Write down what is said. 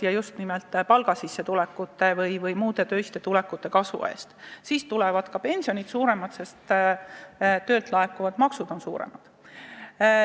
Ja just nimelt palgasissetulekute ja muude töiste sissetulekute kasvu nimel, siis tulevad ka pensionid suuremad, sest töötasult makstavad maksud on suuremad.